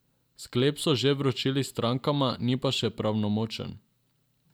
Sklep so že vročili strankama, ni pa še pravnomočen.